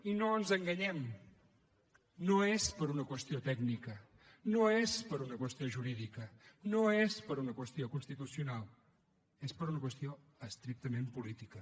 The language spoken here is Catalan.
i no ens enganyem no és per una qüestió tècnica no és per una qüestió jurídica no és per una qüestió constitucional és per una qüestió estrictament política